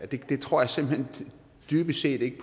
det tror jeg simpelt hen dybest set ikke